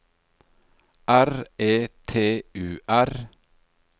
R E T U R